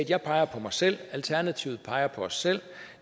jeg peger på mig selv alternativet peger på os selv